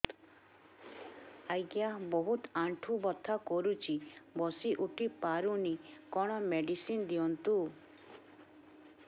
ଆଜ୍ଞା ବହୁତ ଆଣ୍ଠୁ ବଥା କରୁଛି ବସି ଉଠି ପାରୁନି କଣ ମେଡ଼ିସିନ ଦିଅନ୍ତୁ